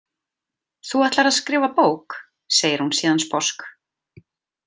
Þú ætlar að skrifa bók, segir hún síðan sposk.